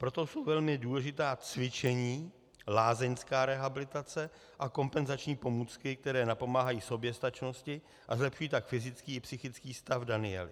Proto jsou velmi důležitá cvičení, lázeňská rehabilitace a kompenzační pomůcky, které napomáhají soběstačnosti, a zlepšují tak fyzický i psychický stav Daniely.